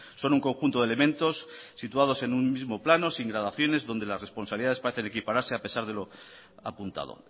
son un conjunto de elementos situados en un mismo plano sin gradaciones donde las responsabilidades parecen equipararse a pesar de lo apuntado